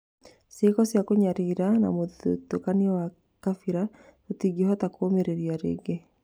Cĩĩko cia kũnyarira na mũthutũkanio wa kabira tũtingĩhota kũũmĩrĩria rĩngĩ